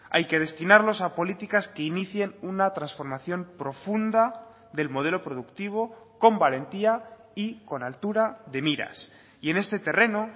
hay que destinarlos a políticas que inicien una transformación profunda del modelo productivo con valentía y con altura de miras y en este terreno